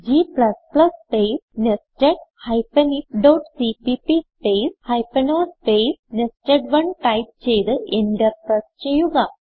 g space nested ifസിപിപി space o space nested type ചെയ്ത് enter press ചെയ്യുക